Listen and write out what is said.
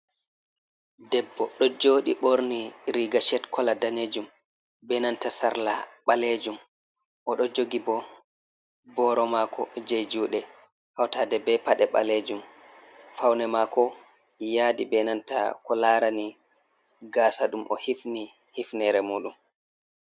Debbo ɗo joɗi ɓorni riga shirt kola danejum ,be nanta sarla ɓalejum o do jogi bo boro mako je juɗe hautaɗe be paɗe ɓalejum faune mako yadi be nanta ko larani gasa ɗum o hifni hifnere muɗum.